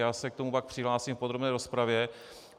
Já se k tomu pak přihlásím v podrobné rozpravě.